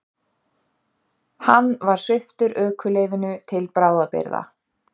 Hann var sviptur ökuleyfinu til bráðabirgða